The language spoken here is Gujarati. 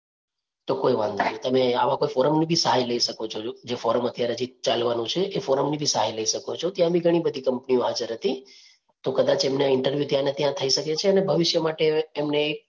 તો કોઈ વાંધો નહીં. તમે આવા કોઈ ફોરમ ની બી સહાય લઈ શકો છો જે ફોરમ અત્યારે હજી ચાલવાનું છે એ ફોરમ ની બી સહાય લઈ શકો છો. ત્યાં બી ઘણી બધી કંપનીઓ હાજર હતી તો કદાચ એમને interview ત્યાં ના ત્યાં થઈ શકે છે અને ભવિષ્ય માટે એમને